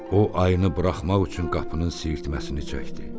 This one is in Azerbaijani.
O ayını buraxmaq üçün qapının sirtməsini çəkdi.